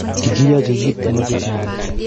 Kikiyochi kit ne mosikchinei .